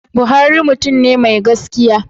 Buhari mutum ne mai gaskiya.